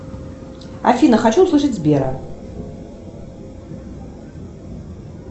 афина хочу услышать сбера